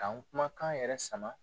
K'an kumakan yɛrɛ sama